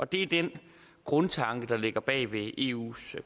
det er den grundtanke der ligger bag eus